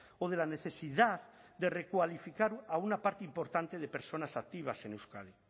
o de la necesidad de recualificar a una parte importante de personas activas en euskadi